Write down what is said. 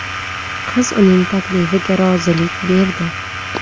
Qiz uning taklifiga rozilik berdi.